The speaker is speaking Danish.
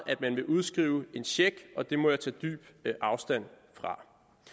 at man vil udskrive en check og det må jeg tage dyb afstand fra